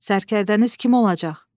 Sərkərdəniz kim olacaq?